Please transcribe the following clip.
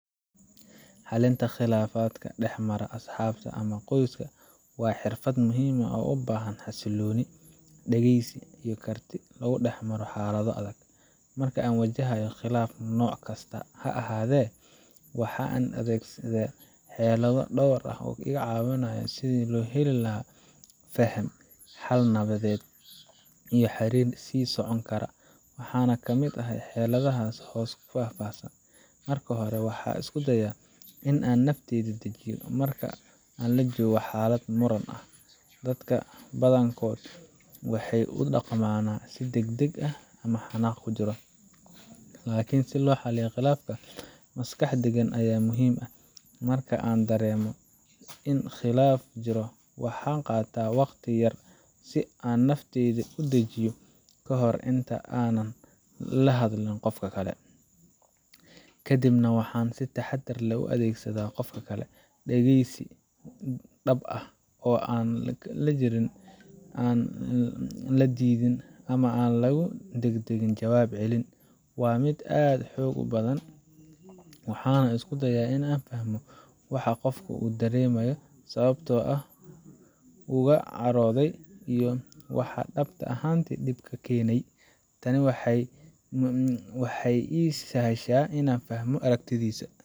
Xallinta khilaafaadka dhex mara asxaabta ama qoyska waa xirfad muhiim ah oo u baahan xasillooni, dhegeysi, iyo karti lagu dhex maro xaalado adag. Marka aan wajahayo khilaaf nooc kasta ha ahaadee, waxaan adeegsadaa xeelado dhowr ah oo caawiya sidii loo heli lahaa faham, xal nabadeed, iyo xiriir sii socon kara. Waxaana ka mid ah xeeladahaan hoos ku faahfaahsan: Marka hore, waxaan isku dayaa in aan naftayda dejiyo. Marka la joogo xaalad muran ah, dadka badankood waxay u dhaqmaan si degdeg ah ama xanaaq ku jiro. Laakiin si loo xalliyo khilaaf, maskax deggan ayaa muhiim ah. Marka aan dareemo in khilaaf jiro, waxaan qaataa waqti yar si aan naftayda u dejiyo ka hor inta aanan la hadlin qofka kale. Kadibna, waxaan si taxadar leh u dhageystaa qofka kale. Dhegeysi dhab ah oo aan la jarin, aan la diidin, ama aan lagu degdegin jawaab celin waa mid aad u xoog badan. Waxaan isku dayaa in aan fahmo waxa uu qofku dareemayo, sababta uu uga carooday, iyo waxa dhab ahaantii dhibka keenay. Tani waxay ii sahlaysaa in aan fahmo aragtidiisa.